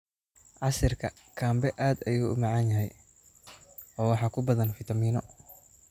Casiirka cambe aad buu u macaan yahay oo waxaa ku badan fiitamiino.